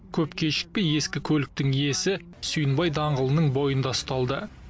көп кешікпей ескі көліктің иесі сүйінбай даңғылының бойында ұсталды